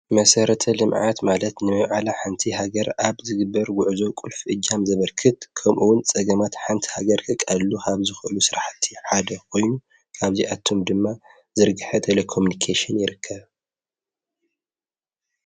መሠረተ ልምዓት ማለት ነመውዓላ ሓንቲ ሃገር ኣብ ዝግበር ውዕዞ ቊልፍ እጃም ዘበርክት ከምኡውን ጸገማት ሓንቲ ሃገር ክቓሉ ሃብ ዝኸሉ ሥረሕቲ ሓደ ኾይኑ ካብዚኣቶም ድማ ዝርግሐ ተለኮምምንቄሽን ይርከብ።